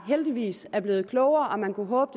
heldigvis er blevet klogere og man kunne håbe